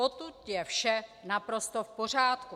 Potud je vše naprosto v pořádku.